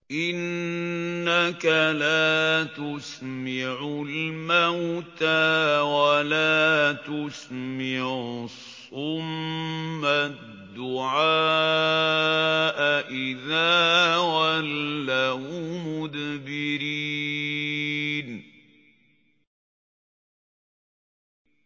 إِنَّكَ لَا تُسْمِعُ الْمَوْتَىٰ وَلَا تُسْمِعُ الصُّمَّ الدُّعَاءَ إِذَا وَلَّوْا مُدْبِرِينَ